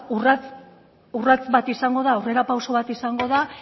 urrats bat izango da aurrerapauso bat izango da